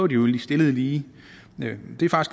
de jo stillet lige det